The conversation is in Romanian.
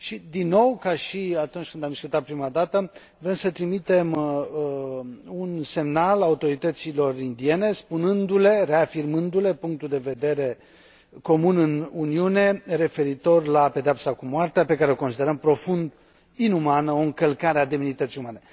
Din nou, ca și atunci când am discutat prima dată, vrem să trimitem un semnal autorităților indiene, spunându le, reafirmându le punctul de vedere comun în Uniune referitor la pedeapsa cu moartea, pe care o considerăm profund inumană, o încălcare a demnității umane.